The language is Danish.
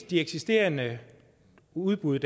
de eksisterende udbud